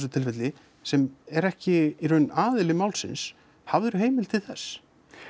tilfelli sem er ekki í rauninni aðili málsins hafðirðu heimild til þess